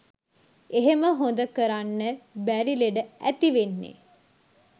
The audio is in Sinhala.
එහෙම හොඳ කරන්න බැරි ලෙඩ ඇතිවෙන්නෙ